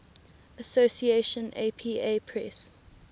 association apa press